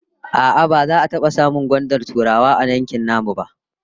A'a, baza ka taba samun gwandar Turawa a nan yankin namu ba